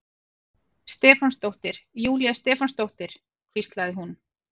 Stefánsdóttir, Júlía Stefánsdóttir, hvíslaði hún.